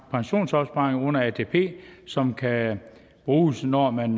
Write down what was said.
pensionsopsparing under atp som kan bruges når man